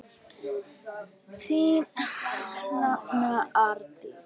Þín nafna, Arndís.